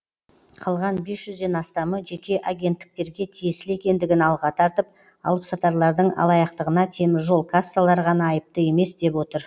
қалған бес жүзден астамы жеке агенттіктерге тиесілі екендігін алға тартып алыпсатарлардың алаяқтығына темір жол кассалары ғана айыпты емес деп отыр